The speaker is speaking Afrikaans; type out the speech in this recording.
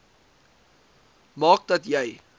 maak dat jy